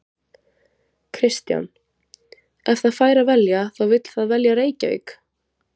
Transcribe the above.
Kristján: Ef það fær að velja þá vill það velja Reykjavík?